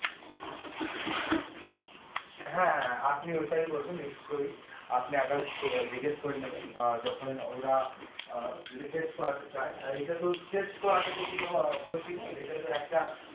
হ্যাঁ, আপনি ওটাই করবেন নিশ্চয় আপনি আবার করে নেবেন যখন ওরা অ্যাঁ যদি করাতে চাই আর এটা তো করাতে কনো ক্ষতি নেই এটাতো একটা